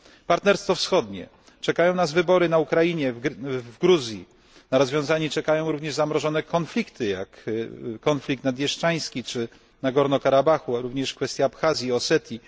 Partnerstwo Wschodnie czekają nas wybory na Ukrainie, w Gruzji na rozwiązanie czekają również zamrożone konflikty, jak konflikt naddniestrzański czy w Górskim Karabachu, a również kwestia Abchazji i Osetii.